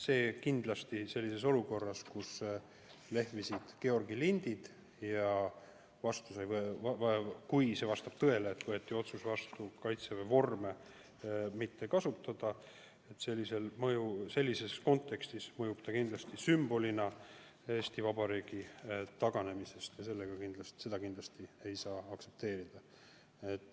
See kindlasti mõjub olukorras, kus võeti vastu otsus Kaitseväe vormi mitte kasutada, kui lehvivad Georgi lindid, sümbolina Eesti Vabariigi taganemisest ja seda kindlasti ei saa aktsepteerida.